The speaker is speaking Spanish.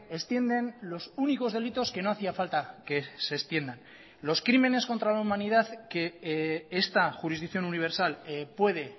extienden los únicos delitos que no hacía falta que se extiendan los crímenes contra la humanidad que esta jurisdicción universal puede